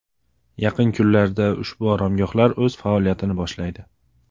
Yaqin kunlarda ushbu oromgohlar o‘z faoliyatini boshlaydi.